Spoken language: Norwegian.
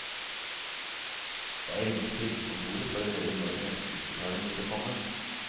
Jeg ringte trygdekontoret for å høre når neste utbetaling ville komme.